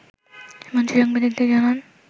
মন্ত্রী সাংবাদিকদের জানান